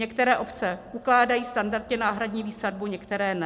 Některé obce ukládají standardně náhradní výsadbu, některé ne.